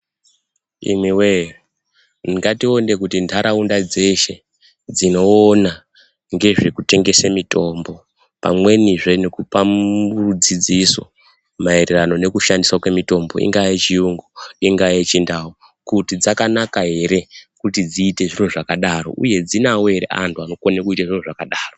Imiwee, ngatione kuti ndarawunda dzeshe dzinowona ngezvekutengese mitombo pamweni zve nekupa dzidziso mayererano nekushandiswa kwemitombo. Inga yechiyungu, inga yechindau, kuti dzakanaka here, kuti dzite zviro zvakadaro, uye dzinawo here antu anokhone kuita zviro zvakadaro.